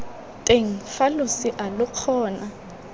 teng fa losea lo kgona